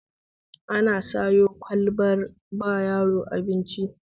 Ana sayo ƙwalbar ba yaro abinci